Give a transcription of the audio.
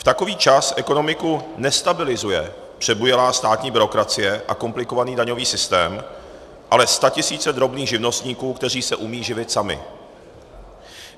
V takový čas ekonomiku nestabilizuje přebujelá státní byrokracie a komplikovaný daňový systém, ale statisíce drobných živnostníků, kteří se umí živit sami.